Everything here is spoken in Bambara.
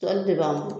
Tɔli de b'an